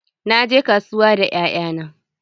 Na je kasuwa da 'ya'ya na.